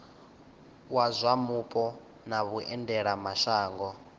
wa zwa mupo na vhuendelamashango